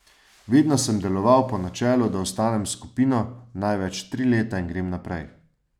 Vedno sem deloval po načelu, da ostanem s skupino največ tri leta in grem naprej.